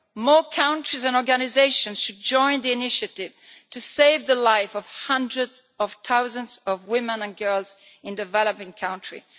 More countries and organisations should join the initiative to save the life of hundreds of thousands of women and girls in developing countries.